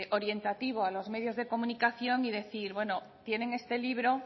orientativo a los medios de comunicación y decir bueno tienen este libro